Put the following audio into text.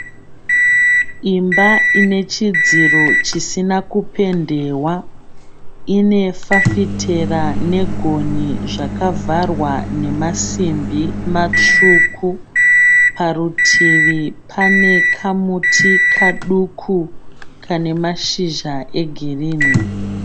Imba ine chidziro chisina kupendewa. Ine fafitera negonhi zvakavharwa nemasimbi matsvuku. Parutivi pane kamuti kaduku kane mashizha egirinhi.